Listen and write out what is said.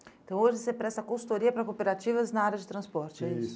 Então hoje você presta consultoria para cooperativas na área de transporte, é isso? Isso.